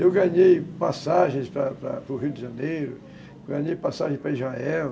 Eu ganhei passagens para para o Rio de Janeiro, ganhei passagem para Israel,